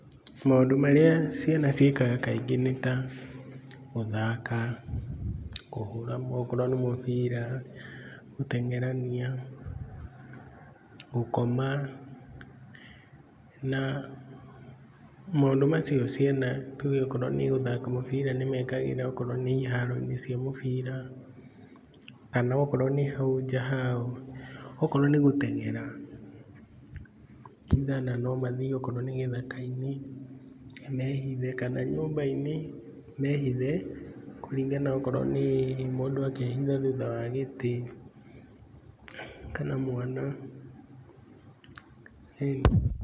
Maũndũ marĩa ciana ciĩkaga kaingĩ nĩ ta gũthaaka, kũhũra okorwo nĩ mũbira, gũteng'erania, gũkoma na maũndũ macio ciana tuuge okorwo nĩ gũthaaka mũbira nĩmekagĩra okorwo nĩ iharoinĩ cia mũbira kana okorwo nĩ hau nja haao. Okorwo nĩ gũteng'era, no mathiĩ nginya okorwo nĩ gĩthaka inĩ na mehithe, kana nyũmbainĩ, mehithe kũringana okorwo nĩ mũndũ akehitha thutha wa gĩtĩ kana mwana..